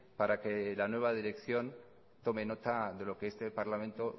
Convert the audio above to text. para que la nueva dirección tome nota de lo que este parlamento